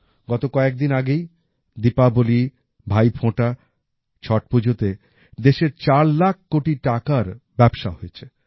গত কয়েকদিন আগেই দীপাবলি ভাইফোঁটা ছট্ পুজোতে দেশে চার লাখ কোটি টাকার ব্যবসা হয়েছে